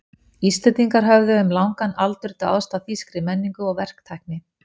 Íslendingar höfðu um langan aldur dáðst að þýskri menningu og verktækni.